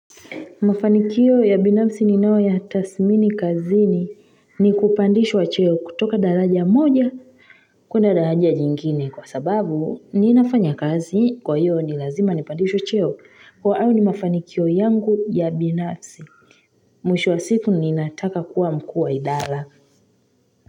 Mafanikio ya binafsi ni nao ya tasmini kazini ni kupandishwa cheo kutoka daraja moja kuna daraja jingine kwa sababu ninafanya kazi kwa hiyo nilazima nipandishwa cheo kwa au ni mafanikio yangu ya binafsi Mwishwa sifu ninataka kuwa mkua idhala.